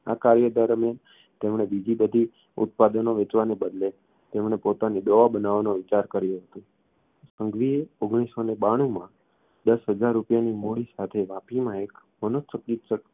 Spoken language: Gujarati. આ કાર્ય દરમ્યાન જ તેમણે બીજી બધી ઉત્પાદનો વેચવાને બદલે તેમણે પોતાની દવાઓ બનાવવાનો વિચાર કર્યો હતો સંઘવીએ ઓગણીસસોને બાણુમાં દસ હજાર રૂપિયાની મૂડી સાથે વાપીમાં એક મનોચિકિત્સક